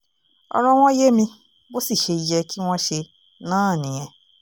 ọ̀rọ̀ wọn yé mi bó sì ṣe yẹ kí wọ́n ṣe náà nìyẹn